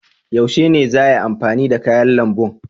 Yaushe ne za ayi amfani da kayan lambun?